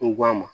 Ko a ma